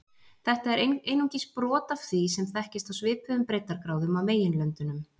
Þetta er einungis brot af því sem þekkist á svipuðum breiddargráðum á meginlöndunum.